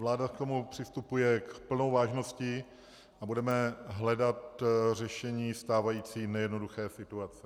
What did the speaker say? Vláda k tomu přistupuje s plnou vážností a budeme hledat řešení stávající nejednoduché situace.